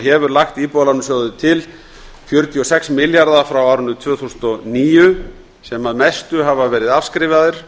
hefur lagt íbúðalánasjóði til fjörutíu og sex milljarða frá árinu tvö þúsund og níu sem að mestu hafa verið afskrifaðir